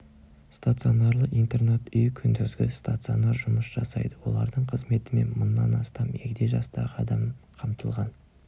стационарлы интернат үй күндізгі стационар жұмыс жасайды олардың қызметімен мыңнан астам егде жастағы адам қамтылған